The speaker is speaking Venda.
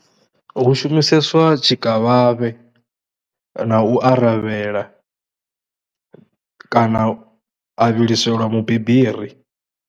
Hu shumiseswa tshikavhavhe na u aravhela kana a vhiliselwa mubibiri.